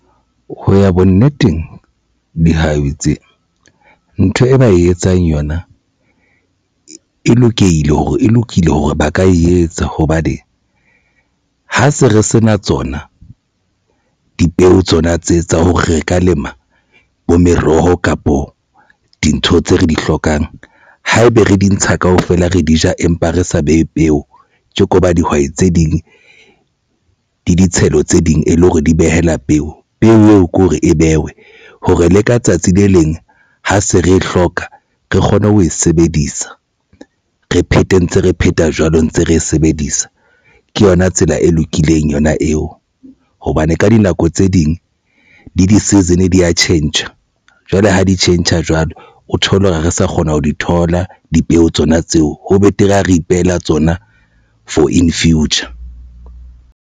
Ho ya bonneteng dihwai tse ntho e ba e etsang yona e lokile hore ba ka e etsa hobane ha se re sena tsona dipeo tsona tse tsa hore re ka lema bo meroho kapo dintho tse re di hlokang ha ebe re di ntsha kaofela re di ja, empa re sa behe peo tje ko ba dihwai tse ding le ditshelo tse ding e le hore di behela peo. Peo eo ke hore e behwe hore le ka tsatsi le leng ha se re e hloka re kgone ho e sebedisa, re phethe ntse re pheta jwalo ntse re e sebedisa. Ke yona tsela e lokileng eng yona eo hobane ka dinako tse ding di di-season di ya tjhentjha jwale ha di tjhentjha jwalo. O thole hore ha re sa kgona ho di thola dipeo tsona tseo. Ho betere ha re ipehela tsona for in future.